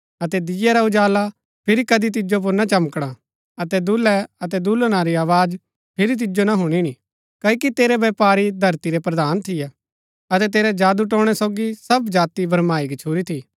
अतै दीये रा उजाला फिरी कदी तिजो पुर ना चमकणा अतै दूल्है अतै दूल्हना री आवाज फिरी तिजो ना हुणिणी क्ओकि तेरै व्यपारी धरती रै प्रधान थियै अतै तेरै जादूटोणै सोगी सब जाति भरमाई गच्छुरी थी